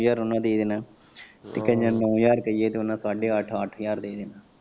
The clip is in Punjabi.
ਨੌ ਹਜਾਰ ਉਨਾਂ ਦੇ ਦੇਣਾ ਤੇ ਕਈਆ ਨੇ ਨੌ ਹਜਾਰ ਰੁਪਏ ਤੇ ਉਨਾਂ ਨੇ ਸਾਡੇ ਅੱਠ ਅੱਠ ਹਜਾਰ ਦੇ ਦੇਣਾ।